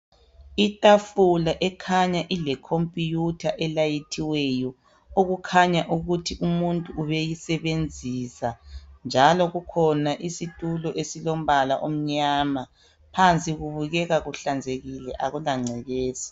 Itafula ekhanya ilekhomputha elayithiweyo okukhanya ukuthi umuntu ubeyisebenzisa njalo kukhona isitulo esilombala omnyama phansi kubukeka kuhlanzekile akulangcekeza.